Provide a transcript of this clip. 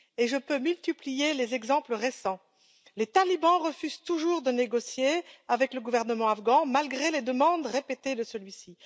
Je pourrais multiplier les exemples récents. Les talibans refusent toujours de négocier avec le gouvernement afghan, malgré les demandes répétées de celui ci.